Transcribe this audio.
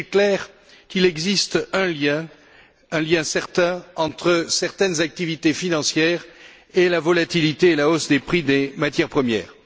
Il est clair qu'il existe un lien certain entre certaines activités financières et la volatilité et la hausse des prix des matières premières.